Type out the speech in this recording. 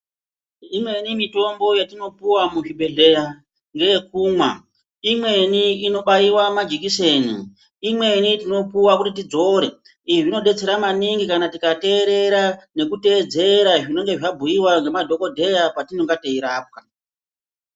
Imweni mitombo yetinopiwa muzvibhedhleya ngeyekumwa, imweni inobaiwa majikiseni, imweni tinopuwa kuti tidzore. Izvi zvinodetsera maningi kana tikateerera, nekuteedzera zvinonge zvabhuyiwa ngemadhokodheya patinonga teirapwa.